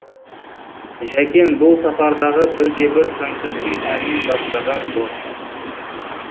жәкең бұл сапардағы бірде бір концертін әнмен бастаған жоқ